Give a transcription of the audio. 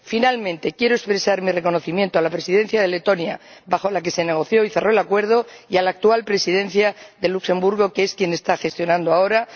Finalmente, quiero expresar mi reconocimiento a la presidencia de Letonia, durante la cual se negoció y cerró el acuerdo, y a la actual presidencia de Luxemburgo, que es quien lo está gestionando ahora